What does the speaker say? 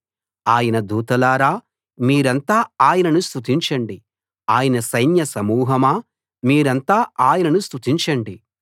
ఆయన దూతలారా మీరంతా ఆయనను స్తుతించండి ఆయన సైన్య సమూహమా మీరంతా ఆయనను స్తుతించండి